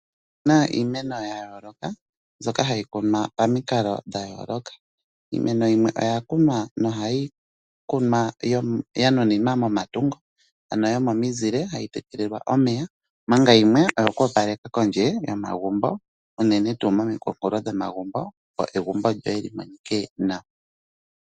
Opuna iimeno ya yooloka mbyoka hayi kunwa pamikalo dha yooloka. Iimeno yimwe oya kunwa nohayi kunwa ya nuninwa momatungo ano yomomizile hayi tekelelwa omeya manga yimwe oyo kwoopaleka kondje yomagumbo unene tuu momikunkulo dhomagumbo opo egumbo lyoye li monike nawa.